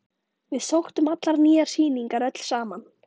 Við sóttum allar nýjar sýningar öll saman.